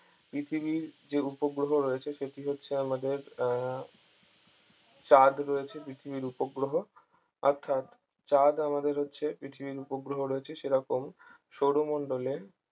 পৃথিবীর যে উপগ্রহ রয়েছে সেটি হচ্ছে আমাদের আহ চাঁদ রয়েছে পৃথিবীর উপগ্রহ অর্থাৎ চাঁদ আমাদের হচ্ছে পৃথিবীর উপগ্রহ রয়েছে সেরকম সৌরমণ্ডলে